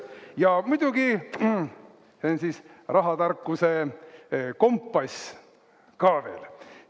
Ja muidugi, see on "Rahatarkuse kompass", see ka veel.